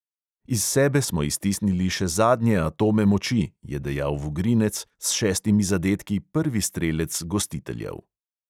Iz sebe smo iztisnili še zadnje atome moči, je dejal vugrinec, s šestimi zadetki prvi strelec gostiteljev.